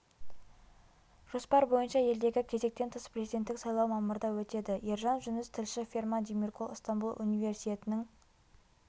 жоспар бойынша елдегі кезектен тыс президенттік сайлау мамырда өтеді ержан жүніс тілші ферман демиркол ыстамбұл универсиетінің